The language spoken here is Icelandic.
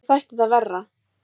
Mér þætti það verra!